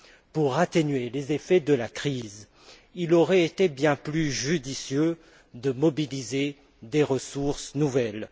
Pour atténuer les effets de la crise, il aurait été bien plus judicieux de mobiliser des ressources nouvelles.